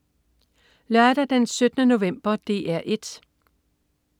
Lørdag den 17. november - DR 1: